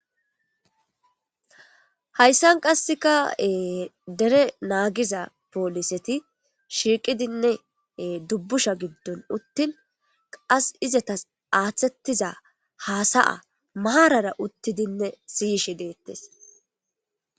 Hayisdan qasekka ee dere nagiza polliseti shiqqidinne dubbushsha giddon uttin qasi izetas aththetiza hasa'a maran siyishshe dettesi